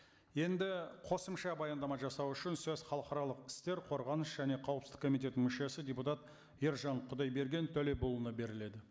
енді қосымша баяндама жасау үшін сөз халықаралық істер қорғаныс және қауіпсіздік комитетінің мүшесі депутат ержан құдайберген төлепұлына беріледі